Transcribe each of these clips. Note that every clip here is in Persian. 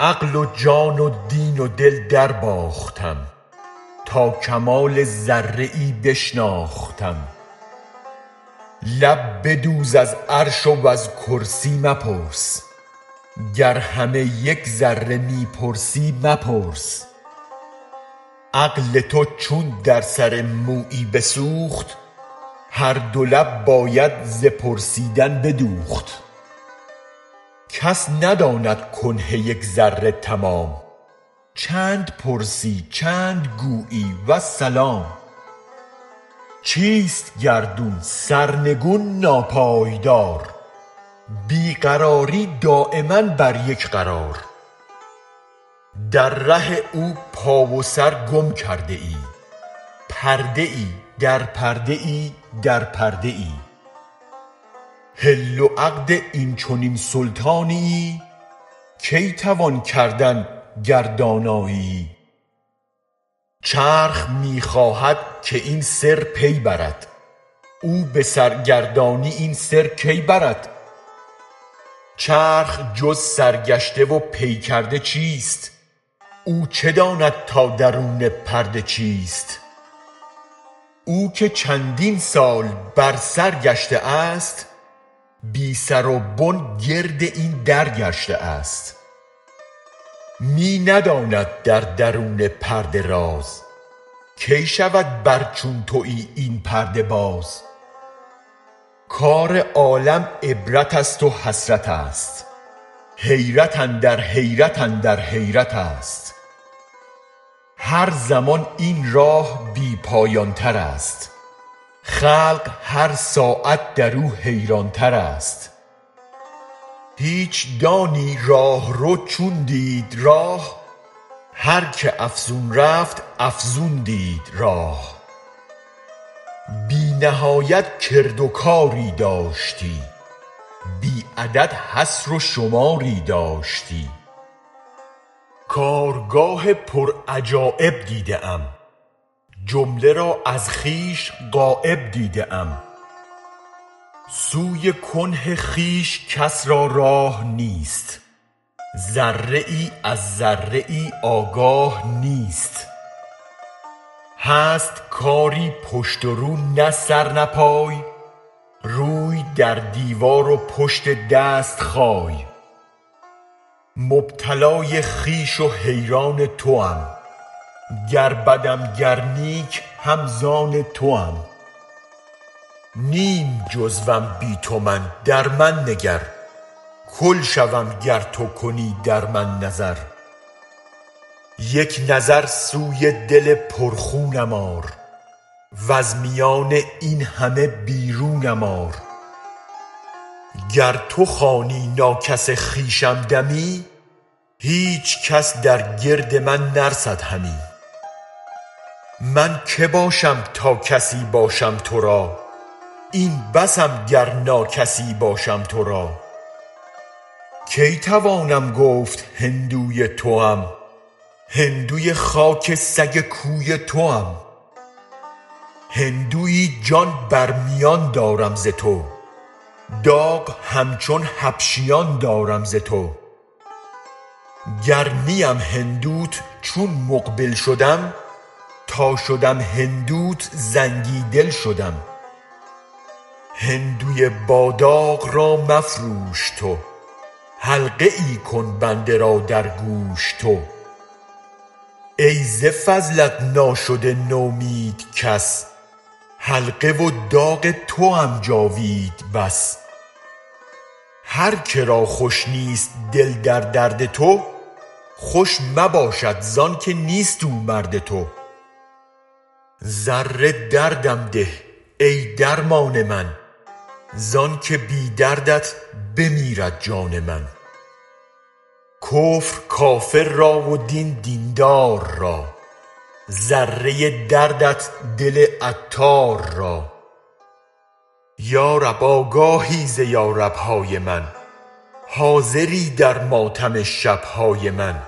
عقل و جان و دین و دل درباختم تا کمال ذره ای بشناختم لب بدوز از عرش وز کرسی مپرس گر همه یک ذره می پرسی مپرس عقل تو چون در سر مویی بسوخت هر دو لب باید ز پرسیدن بدوخت کس نداند کنه یک ذره تمام چند پرسی چند گویی والسلام چیست گردون سرنگون ناپایدار بی قراری دایما بر یک قرار در ره او پا و سر گم کرده ای پرده در پرده در پرده ای حل و عقد این چنین سلطانیی کی توان کردن گر دانیی چرخ می خواهد که این سر پی برد او به سرگردانی این سر کی برد چرخ جز سرگشته و پی کرده چیست اوچه داند تا درون پرده چیست او که چندین سال بر سر گشته است بی سر و بن گرد این در گشته است می نداند در درون پرده راز کی شود بر چون تویی این پرده باز کار عالم عبرت است و حسرتست حیرت اندر حیرت اندر حیرتست هر زمان این راه بی پایان تر است خلق هر ساعت درو حیران تر است هیچ دانی راه رو چون دید راه هرکه افزون رفت افزون دید راه بی نهایت کرد و کاری داشتی بی عدد حصر و شماری داشتی کارگاه پر عجایب دیده ام جمله را از خویش غایب دیده ام سوی کنه خویش کس را راه نیست ذره ای از ذره ای آگاه نیست هست کاری پشت و رو نه سر نه پای روی در دیوار و پشت دست خای مبتلای خویش و حیران توام گر بدم گر نیک هم زان توام نیم جزوم بی تو من در من نگر کل شوم گر تو کنی در من نظر یک نظر سوی دل پر خونم آر وز میان این همه بیرونم آر گر تو خوانی ناکس خویشم دمی هیچ کس در گرد من نرسد همی من که باشم تا کسی باشم ترا این بسم گر ناکسی باشم ترا کی توانم گفت هندوی توم هندوی خاک سگ کوی توم هندوی جان بر میان دارم ز تو داغ همچون حبشیان دارم ز تو گر نیم هندوت چون مقبل شدم تا شدم هندوت زنگی دل شدم هندوی با داغ را مفروش تو حلقه ای کن بنده را در گوش تو ای ز فضلت ناشده نومید کس حلقه و داغ توم جاوید بس هرکه را خوش نیست دل در درد تو خوش مبادش زانک نیست او مرد تو ذره دردم ده ای درمان من زانک بی دردت بمیرد جان من کفر کافر را و دین دین دار را ذره دردت دل عطار را یا رب آگاهی ز یا ربهای من حاضری در ماتم شبهای من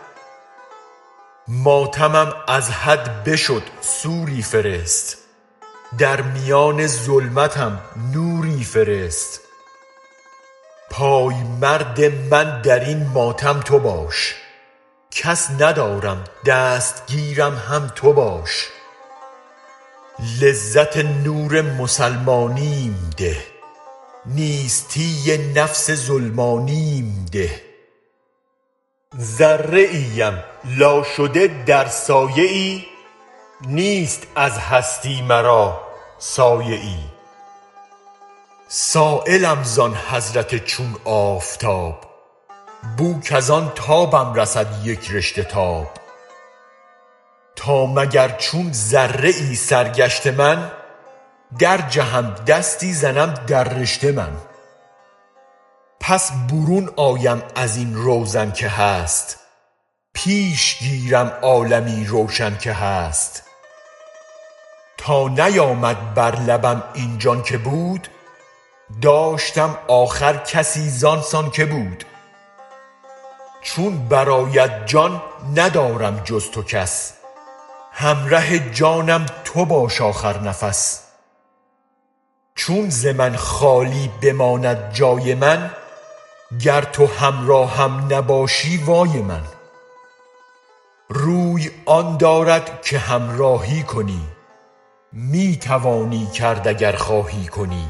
ماتمم از حد بشد سوری فرست در میان ظلمتم نوری فرست پای مرد من در این ماتم تو باش کس ندارم دست گیرم هم تو باش لذت نور مسلمانیم ده نیستی نفس ظلمانیم ده ذره ام لا شده در سایه ای نیست از هستی مرا سایه ای سایلم زان حضرت چون آفتاب بوک از آن تابم رسد یک رشته تاب تا مگر چون ذره سرگشته من درجهم دستی زنم در رشته من پس برون آیم از این روزن که هست پیش گیرم عالمی روشن که هست تا نیامد بر لبم این جان که بود داشتم آخر کسی زان سان که بود چون برآید جان ندارم جز تو کس همره جانم تو باش آخر نفس چون ز من خالی بماند جای من گر تو همراهم نباشی وای من روی آن دارد که همراهی کنی می توانی کرد اگر خواهی کنی